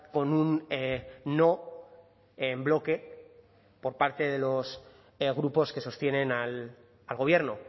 con un no en bloque por parte de los grupos que sostienen al gobierno